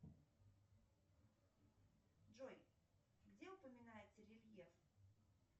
джой где упоминается рельеф